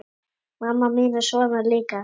Mamma mín er svona líka.